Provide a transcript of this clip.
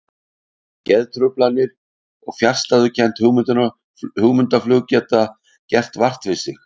Geðtruflanir og fjarstæðukennt hugmyndaflug geta gert vart við sig.